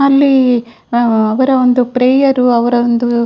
ಅಲ್ಲಿ ಅವರ ಒಂದು ಪ್ರೇಯರ್‌ ಅವರ ಒಂದು --